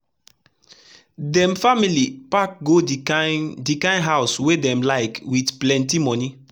them finally pack go the kind the kind house wey dem likewith plenty money.